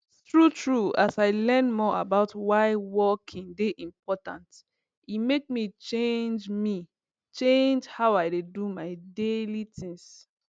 true true as i learn more about why walking dey important e make me change me change how i dey do my daily things